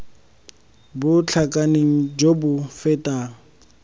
bo tlhakaneng jo bo fetang